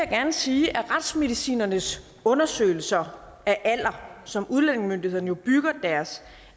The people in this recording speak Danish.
gerne sige at retsmedicinernes undersøgelser af alder som udlændingemyndighederne jo bygger deres